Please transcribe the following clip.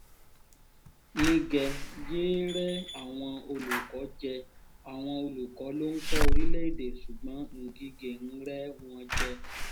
nígẹ yéé rẹ́ àwọn olùkọ́ jẹ àwọn olùkọ́ ló ń kọ́ orílẹ̀‐èdè ṣùgbọ́n ngige ń rẹ́ wọn jẹ